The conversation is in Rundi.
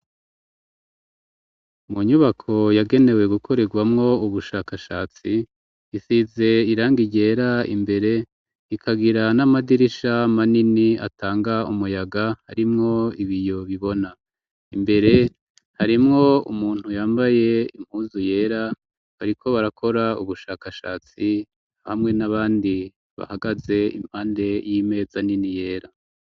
Mu nyubako yagenewe gukorerwamwo ubushakashatsi isize irangi ryera imbere ikagira n'amadirisha manini atanga umuyaga harimwo ibiyo bibona imbere harimwo umuntu yambaye impuzu yera bariko barakora ubushakashatsi hamwe nabandi bahagaze impande y'imeza nini yera.